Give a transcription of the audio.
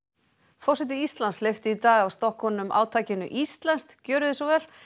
forseti Íslands hleypti í dag af stokkunum átakinu Íslenskt gjörið svo vel